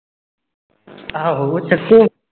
ਆਹੋ ਚਕੋ